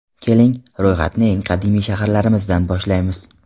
Keling, ro‘yxatni eng qadimiy shaharlarimizdan boshlaymiz.